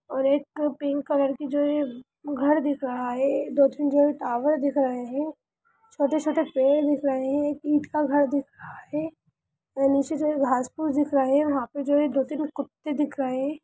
और एक pink colour की जोे है घर दिख रहा है दो तीन जो है टावर दिख रहे हैं छोटे-छोटे पेड़ दिख रहे हैं एक ईट का घर दिख रहा है यह नीचे जो है घांस-पुस दिख रहा है यहां पे जो है दो तीन कुत्ते दिख रहे हैं।